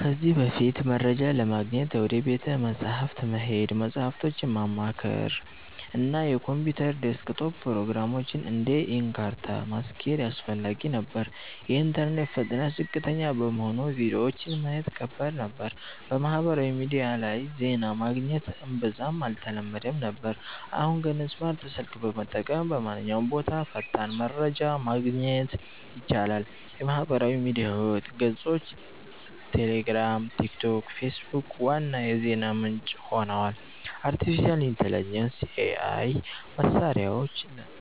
ከዚህ በፊት፦ መረጃ ለማግኘት ወደ ቤተ መጻሕፍት መሄድ፣ መጽሃፎችን ማማከር፣ እና የኮምፒውተር ዴስክቶፕ ፕሮግራሞችን (እንደ Encarta) ማስኬድ አስፈላጊ ነበር። የኢንተርኔት ፍጥነት ዝቅተኛ በመሆኑ ቪዲዮዎችን ማየት ከባድ ነበር። በማህበራዊ ሚዲያ ላይ ዜና ማግኘት እምብዛም አልተለመደም ነበር። አሁን ግን፦ ስማርት ስልክ በመጠቀም በማንኛውም ቦታ ፈጣን መረጃ ማግኘት ይቻላል። የማህበራዊ ሚዲያ ገጾች (ቴሌግራም፣ ቲክቶክ፣ ፌስቡክ) ዋና የዜና ምንጭ ሆነዋል። አርቲፊሻል ኢንተሊጀንስ (AI) መሳሪያዎች